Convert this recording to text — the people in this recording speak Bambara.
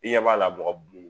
I ɲɛ b'a la mɔgɔ b bon